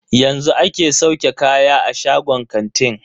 Yanzu ake sauke kaya a shagon kantin.